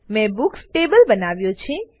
મેં books table બનાવ્યો છે